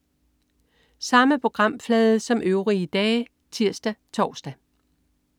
Samme programflade som øvrige dage (tirs-tors)